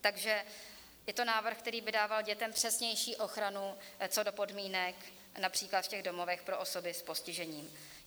Takže je to návrh, který by dával dětem přesnější ochranu co do podmínek například v těch domovech pro osoby s postižením.